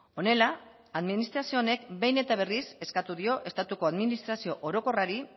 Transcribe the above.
honela administrazio honek behin eta berriz eskatu dio estatuko administrazio orokorrari